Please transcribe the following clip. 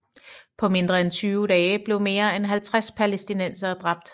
På mindre end tyve dage blev mere end 50 palæstinensere dræbt